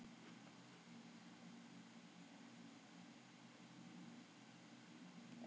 Með því að bera saman arfgerðir lífsýna, er hægt að greina faðerni barns.